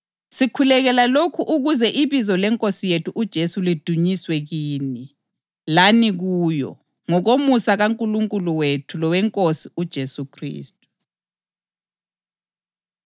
ngosuku ezafika ngalo ukuba idunyiswe ngabantu bayo abangcwele lokuba ibatshazwe phakathi kwabo bonke abakholwayo. Lokhu kugoqela lani ngoba labukholwa ubufakazi bethu kini.